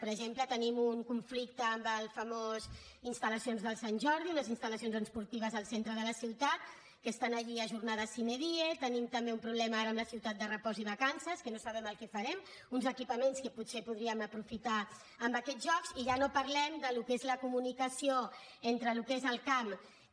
per exemple tenim un conflicte amb les famoses installacions del sant jordi unes instal·lacions esportives al centre de la ciutat que estan allí ajornades sine dienim també un problema ara amb la ciutat de repòs i vacances que no sabem el que en farem uns equipaments que potser podríem aprofitar amb aquests jocs i ja no parlem del que és la comunicació entre el que és el camp que